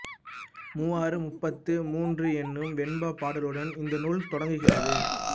மூவாறு முப்பத்து மூன்று என்னும் வெண்பாப் பாடலுடன் இந்த நூல் தொடங்குகிறது